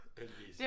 Heldigvis